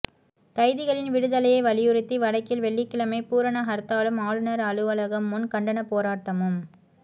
கைதிகளின் விடுதலையை வலியுறுத்தி வடக்கில் வெள்ளிக்கிழமை பூரணஹர்த்தாலும் ஆளுனர் அலுவலகம் முன் கண்டனப் போராட்டமும்